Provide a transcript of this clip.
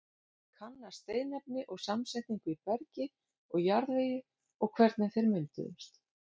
Kanna steinefni og samsetningu í bergi og jarðvegi og hvernig þeir mynduðust.